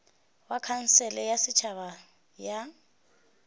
ba khansele ya setšhaba ya